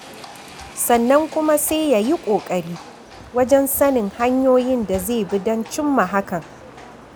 Sannan kuma sai ya yi ƙoƙari wajen sanin hanyoyin da zai bi don cimma hakan.